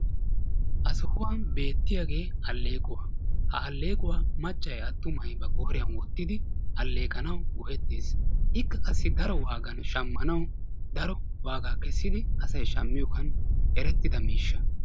Ha sohuwan beettiyaagee alleequwa. Ha alleequwa maccay attumay ba qooriyan wottidi alleqanawu go"ettees. Ikka qassi daro waagan shammanawu daro waaga kessidi asay shammiyogan erettida miishsha.